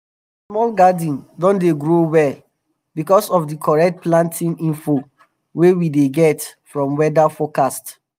my small garden don dey grow well because of the correct planting info wey we dey get from weather um forecast